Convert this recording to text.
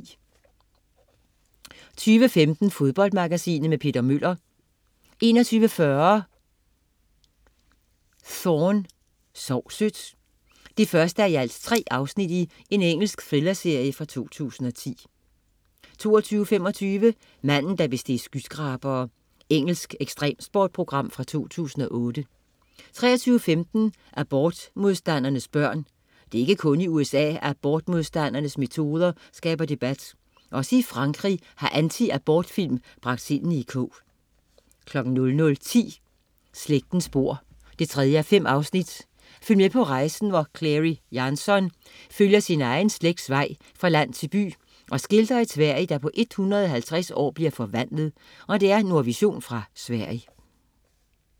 21.15 Fodboldmagasinet. Peter Møller 21.40 Thorne: Sov sødt 1:3. Engelsk thrillerserie fra 2010 22.25 Manden, der besteg skyskrabere. Engelsk ekstremsportsprogram fra 2008 23.15 Abortmodstandernes børn. Det er ikke kun i USA, at abortmodstandernes metoder skaber debat. Også i Frankrig har anti-abortfilm bragt sindene i kog 00.10 Slægtens spor 3:5. Følg med på rejsen, hvor Clary Jansson følger sin egen slægts vej fra land til by og skildrer et Sverige, der på 150 år bliver forvandlet. Nordvision fra Sverige